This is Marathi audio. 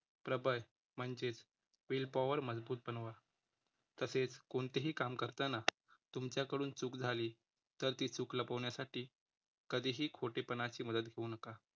प्रबळ म्हणजेचं will power मजबूत बनवा. तसेच कोणतेही काम करताना तुमच्याकडून चूक झाली तर ती चुक लपवण्यासाठी कधीही खोटेपणाची मदत घेऊ नका.